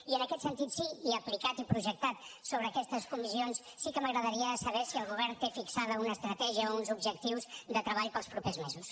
i en aquest sentit sí i aplicat i projectat sobre aquestes comissions sí que m’agradaria saber si el govern té fixada una estratègia o uns objectius de treball per als propers mesos